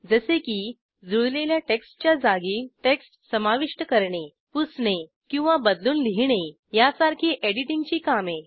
जसे की जुळलेल्या टेक्स्टच्या जागी टेक्स्ट समाविष्ट करणे पुसणे किंवा बदलून लिहिणे यासारखी एडिटिंगची कामे